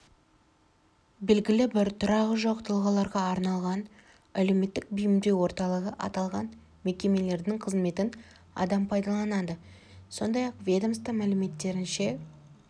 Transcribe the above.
белгілі тұрағы жоқ тұлғаларға арналған әлеуметтік бейімдеу орталығы аталған мекемелердің қызметін адам пайдаланады сондай-ақ ведомство мәліметтерінше